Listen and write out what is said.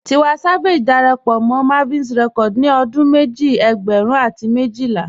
Tiwa Savage dàrápọ̀ mọ́ Mavin Records ní ọdún mẹ́jì ẹ̀gbẹ́rún àti mẹ́jìlà.